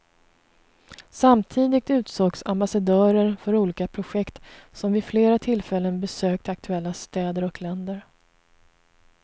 Samtidigt utsågs ambassadörer för olika projekt som vid flera tillfällen besökt aktuella städer och länder.